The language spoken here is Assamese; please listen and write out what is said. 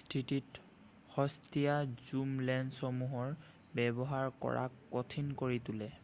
স্থিতিত সস্তিয়া ঝুম লেন্সসমূহৰ ব্যৱহাৰ কৰাক কঠিন কৰি তোলে৷